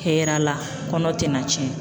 Hɛrɛ la kɔnɔ tɛna tiɲɛ.